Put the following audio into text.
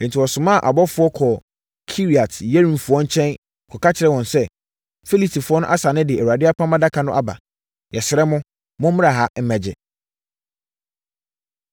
Enti, wɔsomaa abɔfoɔ kɔɔ Kiriat-Yearimfoɔ nkyɛn kɔka kyerɛɛ wɔn sɛ, “Filistifoɔ no asane de Awurade Apam Adaka no aba. Yɛsrɛ mo, mommra ha mmɛgye!”